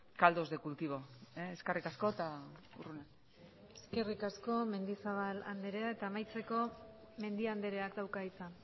caldos de cultivo eskerrik asko eta eskerrik asko mendizabal andrea eta amaitzeko mendia andreak dauka hitza